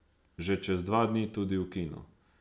Že čez dva dni tudi v kinu.